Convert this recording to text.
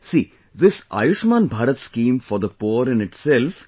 See this Ayushman Bharat scheme for the poor in itself...